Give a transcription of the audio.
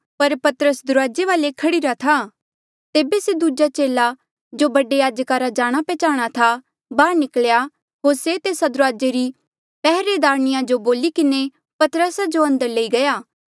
पर पतरस दुराजे वाले खड़ीरा था तेबे से दूजा चेला जो बडे याजका रा जाणा पैहचाणा था बाहर निकल्या होर से तेस्सा दुराजे री पैहरेदारणिया जो बोली किन्हें पतरसा जो अंदर लई गया